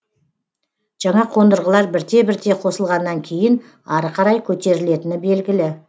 жаңа қондырғылар бірте бірте қосылғаннан кейін ары қарай көтерілетіні белгілі